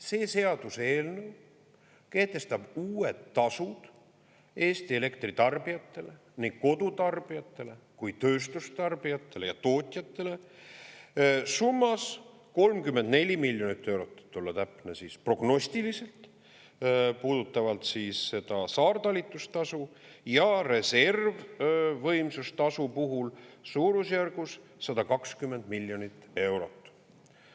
See seaduseelnõu kehtestab uued tasud Eesti elektritarbijatele ning kodutarbijatele, tööstustarbijatele ja tootjatele summas 34 miljonit eurot, et olla täpne, prognostiliselt, puudutavalt seda saartalitustasu, ja reservvõimsustasu puhul suurusjärgus 120 miljonit eurot.